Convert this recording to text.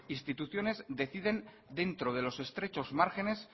instituciones deciden dentro de los estrechos márgenes